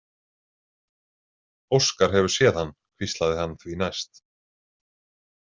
Óskar hefur séð hann, hvíslaði hann því næst.